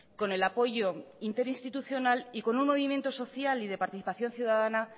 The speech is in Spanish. con el apoyo interinstitucional y con un movimiento social y de participación ciudadana